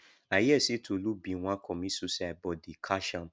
i hear say tolu bin wan comit suicide but they catch am